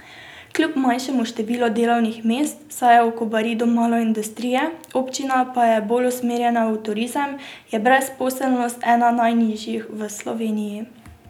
Kljub manjšemu številu delovnih mest, saj je v Kobaridu malo industrije, občina pa je bolj usmerjena v turizem, je brezposelnost ena najnižjih v Sloveniji.